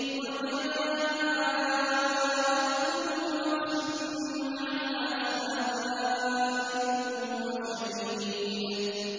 وَجَاءَتْ كُلُّ نَفْسٍ مَّعَهَا سَائِقٌ وَشَهِيدٌ